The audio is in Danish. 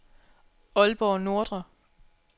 Aalborg Nordre